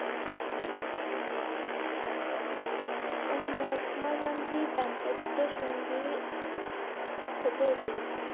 মহাত্মা গান্ধী দাম্পত্য সঙ্গি